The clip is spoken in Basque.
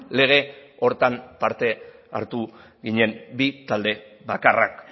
lege horretan parte hartu ginen bi talde bakarrak